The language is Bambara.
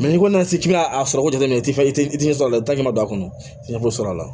n'i kɔni nana se k'i n'a sɔrɔ jateminɛ i tɛ i tɛ i tɛ sɔrɔ a la i ta ɲɛ bɛ don a kɔnɔ i tɛ ɲɛ foyi sɔrɔ a la